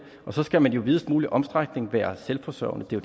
så skal man i videst muligt omfang være selvforsørgende det er